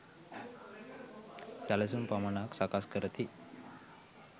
සැලසුම් පමණක් සකස් කරති